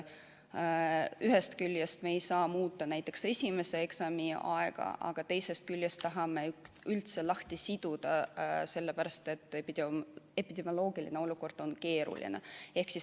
Ühest küljest me ei saa muuta näiteks esimese eksami aega, aga teisest küljest tahame eksamid lõpetamisest üldse lahti siduda, sellepärast et epidemioloogiline olukord on keeruline.